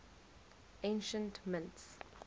ancient mints